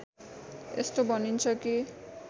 यस्तो भनिन्छ कि